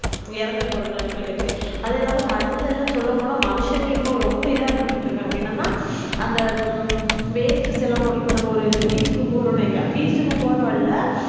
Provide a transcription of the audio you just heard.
இறந்தது போறநெலமைல இருக்கு அதில்லாம கடள்ளலாம் சொள்ளபோன்ன மனுஷங்க ரொம்ப இதா பண்ணிட்டு இருகாங்க என்னனாஅந்த waste எல்லாம் நம்ம ஒரு beach க்கு போறோம்னு வைங்க போற வழில